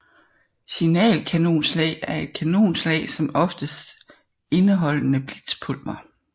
Signal kanonslag er et kanonslag som oftest indeholdende blitzpulver